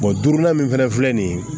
duurunan min fɛnɛ filɛ nin ye